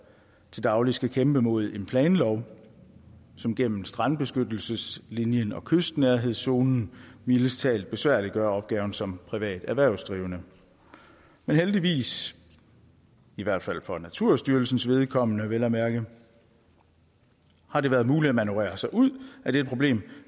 til daglig skal kæmpe mod en planlov som gennem strandbeskyttelseslinjen og kystnærhedszonen mildest talt besværliggør opgaven som privat erhvervsdrivende men heldigvis i hvert fald for naturstyrelsens vedkommende vel at mærke har det været muligt at manøvrere sig ud af det problem